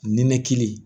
Nin nekili